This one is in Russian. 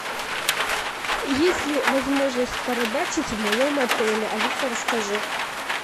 есть ли возможность порыбачить в моем отеле алиса расскажи